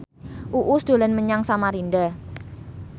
Uus dolan menyang Samarinda